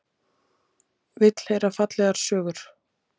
Vill heyra fallegar sögur.